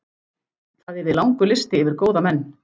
Það yrði langur listi yfir góða menn.